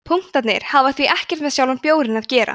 punktarnir hafa því ekkert með sjálfan bjórinn að gera